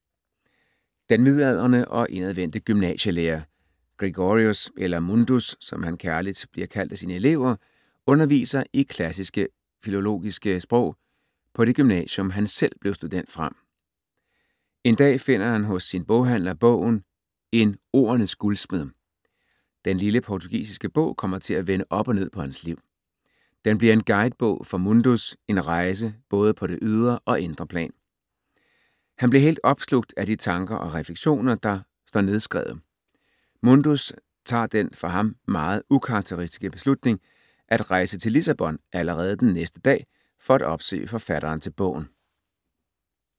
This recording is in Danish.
Den midaldrende og indadvendte gymnasielærer Gregorius, eller Mundus, som han kærligt bliver kaldt af sine elever, underviser i klassiske filologiske sprog på det gymnasium, som han selv blev student fra. En dag finder han hos sin boghandler bogen En ordenes guldsmed. Den lille portugisiske bog kommer til at vende op og ned på hans liv. Den bliver en guidebog for Mundus, en rejse, både på det ydre og indre plan. Han bliver helt opslugt af de tanker og refleksioner, der står nedskrevet. Mundus tager den, for ham, meget ukarakteristiske beslutning at rejse til Lissabon allerede den næste dag for at opsøge forfatteren til bogen.